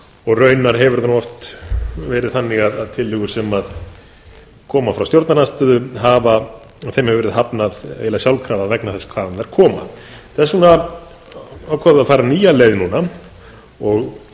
og raunar hefur það oft verið þannig að tillögum sem koma frá stjórnarandstöðu hefur verið hafnað vegna þess hvaðan þær koma þess vegna ákváðum við að fara nýja leið núna og